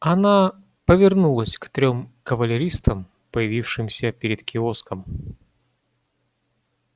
она повернулась к трём кавалеристам появившимся перед киоском